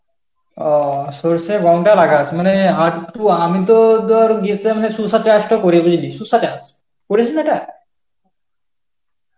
অঃ সরষে গমটা লাগাস মানে আর একটু আমি তো ধর গ্রীষ্মে এমনি শসা চাষ টো করি বুঝলি, শসা চাষ. করিস নি ওটা?